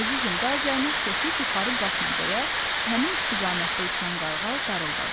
Əzizim, daha zəhmət çəkib yuxarı qalxma, deyə həmin istiqamətdə uçan qarğa qarıldadı.